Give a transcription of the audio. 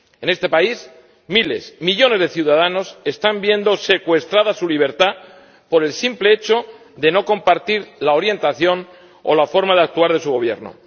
En este país, miles, millones de ciudadanos están viendo secuestrada su libertad por el simple hecho de no compartir la orientación o la forma de actuar de su Gobierno.